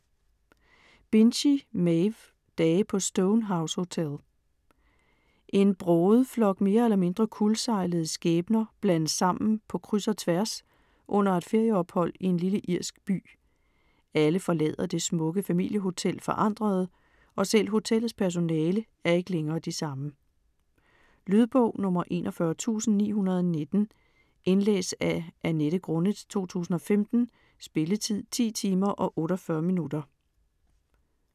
Binchy, Maeve: Dage på Stone House Hotel En broget flok mere eller mindre kuldsejlede skæbner blandes sammen på kryds og tværs under et ferieophold i en lille irsk by. Alle forlader det smukke familiehotel forandrede, og selv hotellets personale er ikke længere de samme. Lydbog 41919 Indlæst af Annette Grunnet, 2015. Spilletid: 10 timer, 48 minutter.